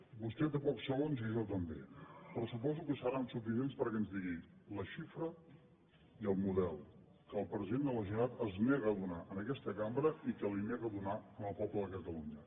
vostè té pocs segons i jo també però suposo que seran suficients perquè ens digui la xifra i el model que el president de la generalitat es nega a donar a aquesta cambra i que es nega a donar al poble de catalunya